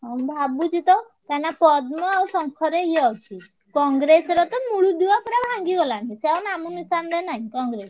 ହଁ ଭାବୁଛି ତ କାଇଁ ନାଁ ପଦ୍ମ ଆଉ ଶଙ୍ଖ ରେ ଏ ଅଛି Congress ର ତ ମୁଳୁଦୂଆ ପୁରା ଭାଙ୍ଗି ଗଲାଣି ସିଏ ଆଉ ନାମୁ ନିଶାନ ରେ ନାହିଁ Congress ।